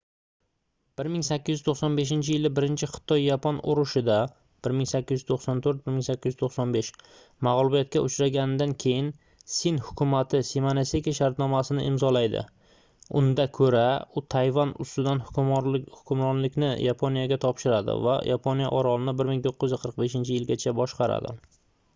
1895-yili birinchi xitoy-yapon urushida 1894–1895 mag'lubiyatga uchragandan keyin sin hukumati shimonoseki shartnomasini imzolaydi unda ko'ra u tayvan ustidan hukmronlikni yaponiyaga topshiradi va yaponiya orolni 1945-yilgacha boshqaradi